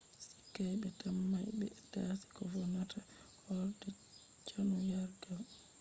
sikay ɓe tammai ɓe dasi ko vonnata horde cannyargal